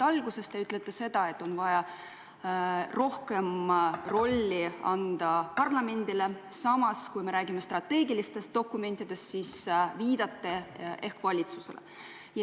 Alguses te ütlete seda, et on vaja rohkem rolli anda parlamendile, samas kui me räägime strateegilistest dokumentidest, te viitate valitsusele.